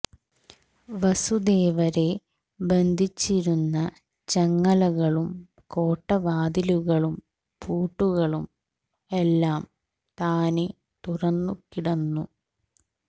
വസുദേവരെ ബന്ധിച്ചിരുന്ന ചങ്ങലകളും കോട്ടവാതിലുകളും പൂട്ടുകളും എല്ലാം താനെ തുറന്നു കിടന്നു